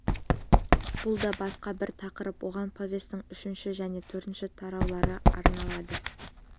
бұл да басқа бір тақырып оған повестің үшінші және төртінші тараулары арналады